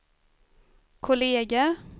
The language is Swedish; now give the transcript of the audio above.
kolleger